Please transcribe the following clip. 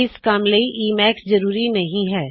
ਇੱਸ ਕੱਮ ਲਈ ਈਮੈਕਸ ਜ਼ਰੂਰੀ ਨਹੀ ਹੈ